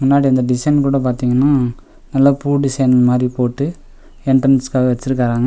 முன்னாடி அந்த டிசைன் கூட பாத்தீங்கனா நல்லா பூ டிசைன் மாரி போட்டு என்டர்ன்ஸ்காக வச்சிருக்காங்க.